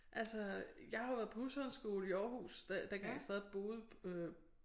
Altså jeg har jo været på husholdningsskole i Aarhus da dengang jeg stadig boede øh